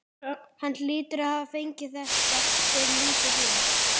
Hann hlýtur að hafa fengið þetta fyrir lítið fé.